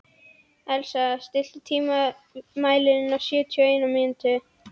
Elísa, stilltu tímamælinn á sjötíu og eina mínútur.